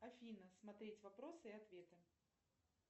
афина смотреть вопросы и ответы